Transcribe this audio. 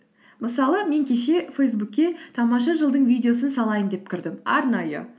мысалы мен кеше фейсбукке тамаша жыл дың видеосын салайын деп кірдім арнайы